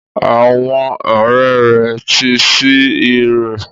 Àwọn ọrẹ rẹ ti sí irọ́.